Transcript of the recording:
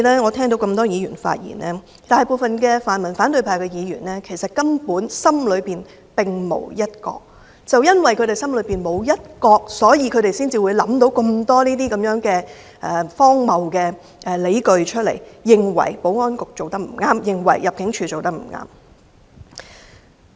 我聽到多位議員發言，大部分泛民和反對派的議員心中其實根本並無"一國"，正因為他們心中沒有"一國"，所以他們才會想到這麼多荒謬的理據，認為保安局和入境處做得不對。